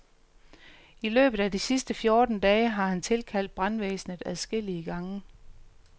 I løbet af de sidste fjorten dage har han tilkaldt brandvæsenet adskillige gange.